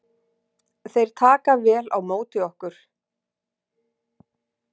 Þeir taka vel á móti okkur